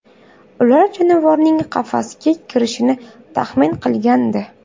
Ular jonivorning qafasga kirishini taxmin qilgandi.